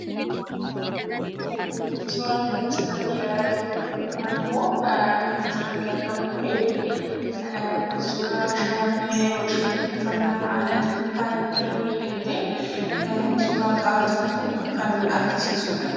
Suuraa nuti asirratti ilaalaa jirru kun, yookaan ammaa kan asirratti argamu kun, suuraa shamarree yeroo isheen uffannaa aadaatiin faayamtee miidhagdee suuraa ka'aa jirtu kan argisiisuudha.